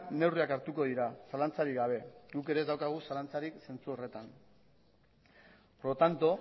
neurriak hartuko dira zalantzarik gabe guk ere ez daukagu zalantzarik zentzu horretan por lo tanto